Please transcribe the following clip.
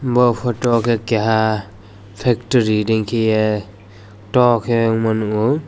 ah photo o ke keha factory re keia doh ke nugma nio.